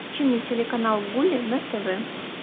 включи мне телеканал гули на тв